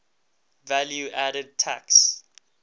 value added tax